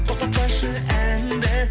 тоқтатпашы әнді